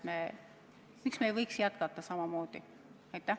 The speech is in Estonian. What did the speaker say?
Miks me ei võiks jätkata samamoodi?